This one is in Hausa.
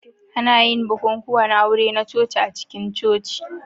Ana yin bukukuwan aure na coci a cikin Coci.